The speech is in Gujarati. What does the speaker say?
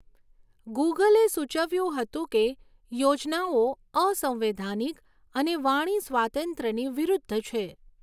ગૂગલે સૂચવ્યું હતું કે યોજનાઓ અસંવૈધાનિક અને વાણી સ્વાતંત્ર્યની વિરુદ્ધ છે.